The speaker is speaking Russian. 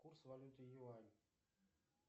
курс валюты юань